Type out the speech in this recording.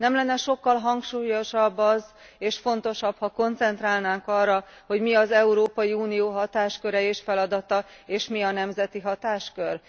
Nem lenne sokkal hangsúlyosabb az, és fontosabb, ha koncentrálnánk arra, hogy mi az Európai Unió hatásköre és feladata és mi a nemzeti hatáskör?